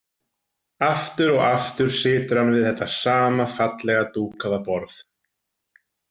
Aftur og aftur situr hann við þetta sama fallega dúkaða borð.